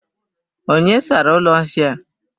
Onye sara ụlọ nsị a?